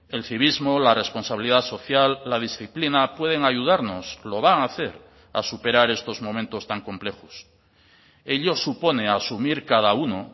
el civismo la responsabilidad social la disciplina pueden ayudarnos lo van a hacer a superar estos momentos tan complejos ello supone asumir cada uno